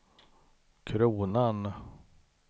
kronan